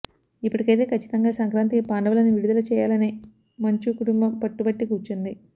ఇప్పటికైతే ఖచ్చితంగా సంక్రాంతికి పాండవులని విడుదల చేయాలనే మంచు కుటుంబం పట్టుబట్టి కూర్చుంది